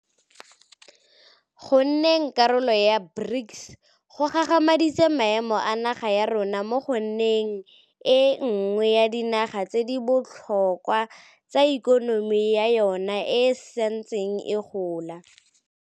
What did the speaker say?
Go nneng karolo ya BRICS go gagamaditse maemo a naga ya rona mo go nneng e nngwe ya dinaga tse di botlhokwa tse ikonomi ya yona e santseng e gola.